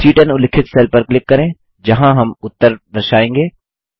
C10 उल्लिखित cell पर click करें जहाँ हम उत्तर दर्शाएँगे